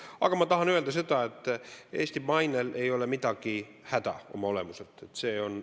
Aga ma tahan öelda, et Eesti mainel ei ole oma olemuselt midagi häda.